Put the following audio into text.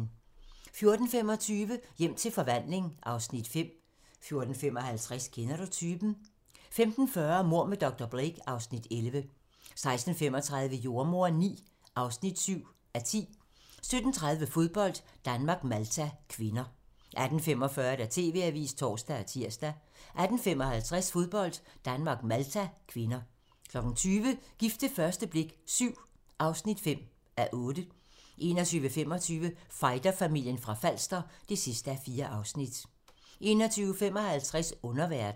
14:25: Hjem til forvandling (Afs. 5) 14:55: Kender du typen? 15:40: Mord med dr. Blake (Afs. 11) 16:35: Jordemoderen IX (7:10) 17:30: Fodbold: Danmark-Malta (k) 18:45: TV-avisen (tor og tir) 18:55: Fodbold: Danmark-Malta (k) 20:00: Gift ved første blik VII (5:8) 21:25: Fighterfamilien fra Falster (4:4) 21:55: Underverden